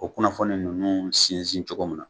O kunnafoni ninnu sinsin cogo min na.